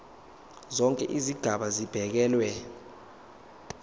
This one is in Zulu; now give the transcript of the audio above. zonke izigaba zibekelwe